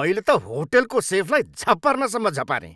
मैले त होटलको सेफलाई झपार्नसम्म झपारेँ।